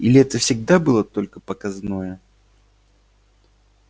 или это всегда было только показное